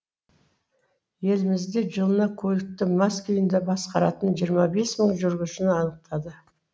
елімізде жылына көлікті мас күйінде басқаратын жиырма бес мың жүргізушіні анықтады